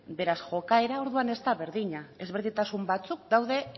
beraz jokaera orduan ez da berdina ezberdintasun batzuk daude